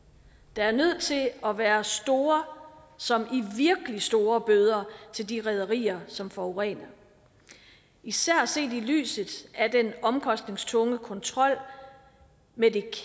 der er nødt til at være store som i virkelig store bøder til de rederier som forurener især set i lyset af den omkostningstunge kontrol med det